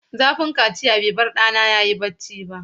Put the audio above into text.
Zafin kaciya bai bar ɗana ya yi barci ba.